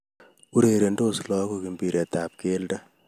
Urerensot lagook mbiret tab keldo